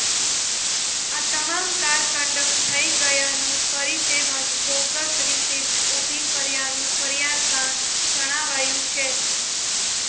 આ તમામ car condemn થઇ ગયાનું કરી તેમજ બોગસ રિસિપ્ટ ઉભી કર્યાનું ફરીયાદમાં જણાવાયું છે